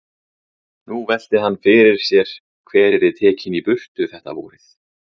Nú velti hann því fyrir sér hver yrði tekinn í burtu þetta vorið.